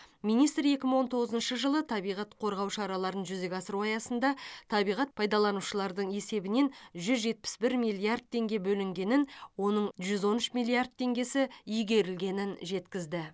министр екі мың он тоғызыншы жылы табиғат қорғау шараларын жүзеге асыру аясында табиғат пайдаланушылардың есебінен жүз жетпіс бір миллиард теңге бөлінгенін оның жүз он үш миллиард теңгесі игерілгенін жеткізді